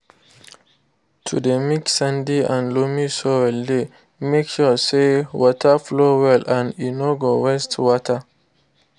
to dey mix sandy and loamy soil dey make sure say water flow well and e no go waste water